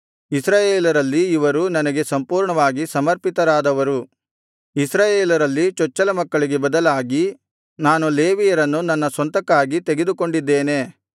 ಇಸ್ರಾಯೇಲರಲ್ಲಿ ಇವರು ನನಗೆ ಸಂಪೂರ್ಣವಾಗಿ ಸಮರ್ಪಿತರಾದವರು ಇಸ್ರಾಯೇಲರಲ್ಲಿ ಚೊಚ್ಚಲ ಮಕ್ಕಳಿಗೆ ಬದಲಾಗಿ ನಾನು ಲೇವಿಯರನ್ನು ನನ್ನ ಸ್ವಂತಕ್ಕಾಗಿ ತೆಗೆದುಕೊಂಡಿದ್ದೇನೆ